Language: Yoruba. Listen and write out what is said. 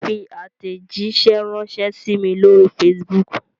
Fi àtẹ̀jíṣẹ́ ránṣẹ sí mí lóri facebook!